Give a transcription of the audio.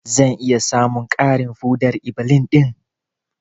Zan iya samun ƙarin foɗar-iblis ɗin?